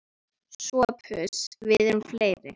SOPHUS: Við erum fleiri.